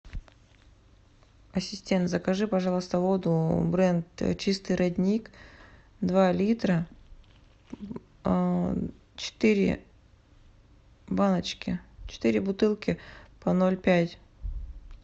ассистент закажи пожалуйста воду бренд чистый родник два литра четыре баночки четыре бутылки по ноль пять